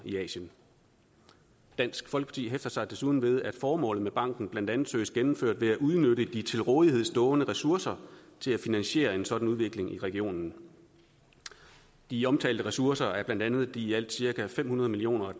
i asien dansk folkeparti hæfter sig desuden ved at formålet med banken blandt andet søges gennemført ved at udnytte de til rådighed stående ressourcer til at finansiere en sådan udvikling i regionen de omtalte ressourcer er blandt andet de i alt cirka fem hundrede million